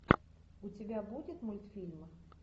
у тебя будет мультфильмы